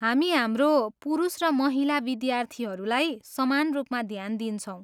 हामी हाम्रो पुरुष र महिला विद्यार्थीहरूलाई समान रूपमा ध्यान दिन्छौँ।